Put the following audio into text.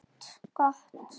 Gott!